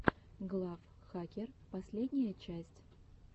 глав хакер последняя часть